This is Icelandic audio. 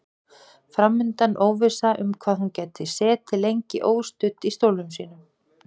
Fram undan óvissa um hvað hún gæti setið lengi óstudd í stólnum sínum.